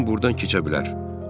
Cim burdan keçə bilər.